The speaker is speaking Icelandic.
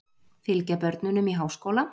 Fylgja börnunum í háskóla